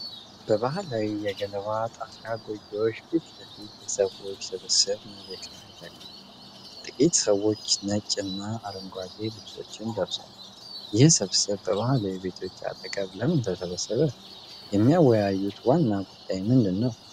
በባህላዊ የገለባ ጣሪያ ጎጆዎች ፊት ለፊት የሰዎች ስብስብ መሬት ላይ ተቀምጧል። ጥቂት ሰዎች ነጭና አረንጓዴ ልብሶችን ለብሰዋል። ይህ ስብስብ በባህላዊ ቤቶች አጠገብ ለምን ተሰበሰበ? የሚወያዩት ዋና ጉዳይ ምንድን ነው?